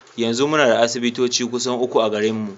Yanzu muna da asibitoci kusan uku a garinmu.